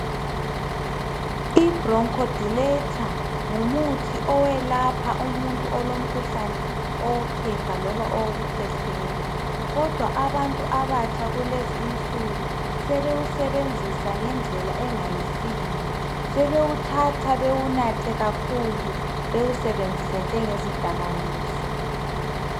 Ibronchodilator ngumuthi owelapha umuntu olomkhuhlane owophepha loba owokukhwehlela kodwa abantu abatsha kulezi insuku sebewusebenzisa ngendlela engayisiyo, sebewuthatha bewunathe kakhulu bewusebenzise njengezidakamizwa.